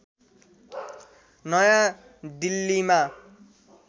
नयाँ दिल्लीमा